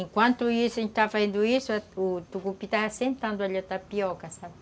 Enquanto a gente estava fazendo isso, o tucupi estava sentando ali, a tapioca, sabe?